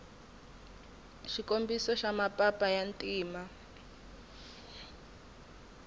xikombiso xa mapapa ya ntima